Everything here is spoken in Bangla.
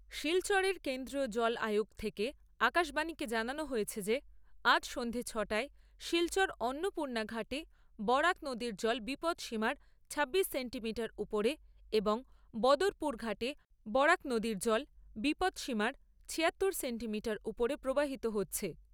শিলচরের কেন্দ্রীয় জল আয়োগ থেকে আকাশবাণীকে জানানো হয়েছে যে আজ সন্ধ্যা ছ'টায় শিলচর অন্নপূর্ণাঘাটে বরাক নদীর জল বিপদসীমার ছাব্বিশ সেন্টিমিটার উপরে এবং বদরপুর ঘাটে বরাক নদীর জল বিপদসীমার ছিয়াত্তর সেন্টিমিটার উপরে প্রবাহিত হচ্ছে।